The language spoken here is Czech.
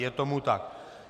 Je tomu tak.